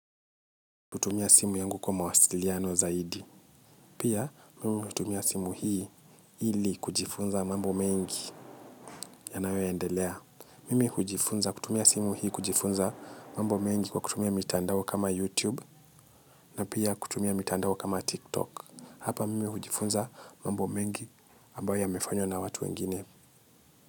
Kutumia simu yangu kwa mawasiliano zaidi. Pia, mimi hutumia simu hii ili kujifunza mambo mengi yanayoendelea. Mimi hujifunza kutumia simu hii kujifunza mambo mengi kwa kutumia mitandao kama YouTube na pia kutumia mitandao kama TikTok. Hapa, mimi hujifunza mambo mengi ambayo yamefanywa na watu wengine.